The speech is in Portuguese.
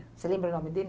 Você lembra o nome dele?